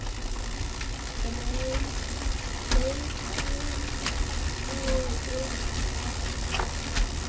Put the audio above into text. Brettum nú upp ermar.